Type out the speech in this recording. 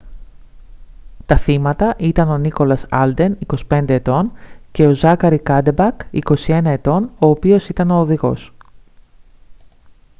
τα θύματα ήταν ο nicholas alden 25 ετών και ο zachary cuddeback 21 ετών ο οποίος ήταν ο οδηγός